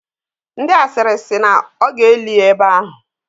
Ndi asịrị si na ọ ga-eli ya ebe ahụ.